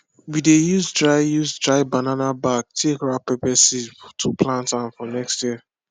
we dey use dry use dry banana back take wrap pepper seed to plant am for next year